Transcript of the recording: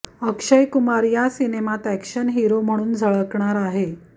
अक्षय कुमार या सिनेमात action hero म्हणून झळकणार आहे